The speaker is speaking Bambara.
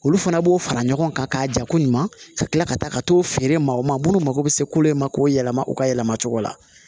Olu fana b'o fara ɲɔgɔn kan k'a jako ɲuman ka kila ka taa ka t'o feere ma o ma minnu mako bɛ se kolo in ma k'o yɛlɛma u ka yɛlɛma cogo la